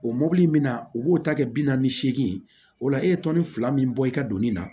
O mɔbili in min na u b'o ta kɛ bi naani ni seegin ye o la e ye tɔnni fila min bɔ i ka doni na